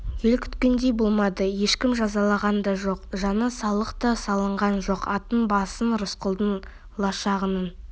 ел күткендей болмады ешкім жазаланған да жоқ жана салық та салынған жоқ аттың басын рысқұлдың лашығының